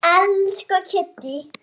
Elsku Kiddý.